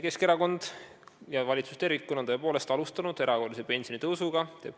Keskerakond ja valitsus tervikuna on tõepoolest alustanud erakorralist pensioni tõstmist.